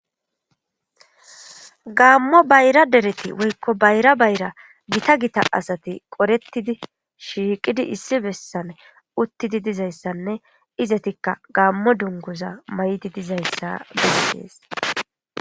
Gaamo bayra dereti woyko bayra bayra Gita Gita dereti qoretid shiiqidi issi besan utidi dizaysanne izetika gaamo dunguza mayidi dizaysa beses.